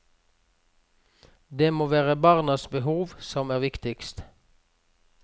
Det må være barnas behov som er viktigst.